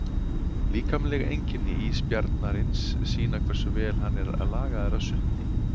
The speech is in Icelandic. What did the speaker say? Líkamleg einkenni ísbjarnarins sýna hversu vel hann er lagaður að sundi.